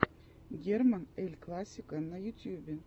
герман эль классико на ютьюбе